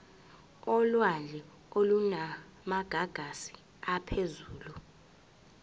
olwandle olunamagagasi aphezulu